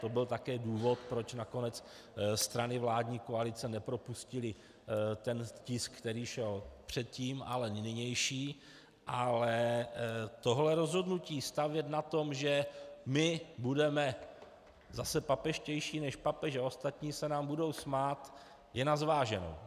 To byl také důvod, proč nakonec strany vládní koalice nepropustily ten tisk, který šel předtím, ale nynější, ale tohle rozhodnutí stavět na tom, že my budeme zase papežštější než papež a ostatní se nám budou smát, je na zváženou.